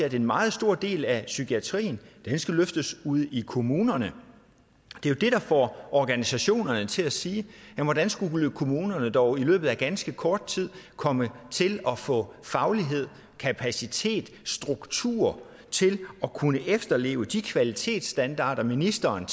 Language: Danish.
at en meget stor del af psykiatrien skal løftes ude i kommunerne det er det der får organisationerne til at sige hvordan skulle kommunerne dog i løbet af ganske kort tid komme til at få faglighed kapacitet og struktur til at kunne efterleve de kvalitetsstandarder ministeren